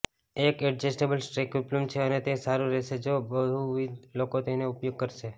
એક એડજસ્ટેબલ સ્ટ્રેગ ઉપલબ્ધ છે અને તે સારું રહેશે જો બહુવિધ લોકો તેનો ઉપયોગ કરશે